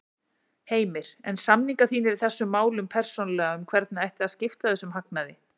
Heimir: En samningar þínir í þessum málum persónulega um hvernig ætti að skipta þessum hagnaði?